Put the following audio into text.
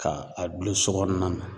Ka a dulon sokɔnɔna na.